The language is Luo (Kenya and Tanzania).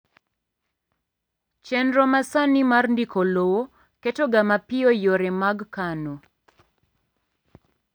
chenro masani mar ndiko lowo keto ga mapiyo yore mag kano